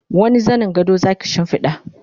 wani zanin gado Zaki shimfiɗa?